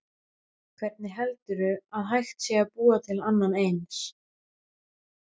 Hvernig heldurðu að hægt sé að búa til annað eins?